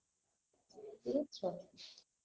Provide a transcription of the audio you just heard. বুঝেছ